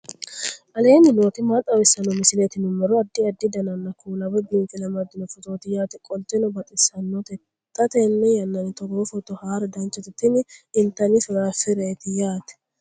aleenni nooti maa xawisanno misileeti yinummoro addi addi dananna kuula woy biinfille amaddino footooti yaate qoltenno baxissannote xa tenne yannanni togoo footo haara danchate tini intanni firaafireeti yaate